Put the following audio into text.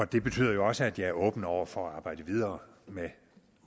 det betyder jo også at jeg er åben over for at arbejde videre med